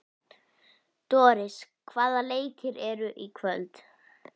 Doris, hvaða leikir eru í kvöld?